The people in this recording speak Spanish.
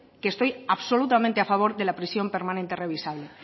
que estoy absolutamente a favor de la prisión permanente revisable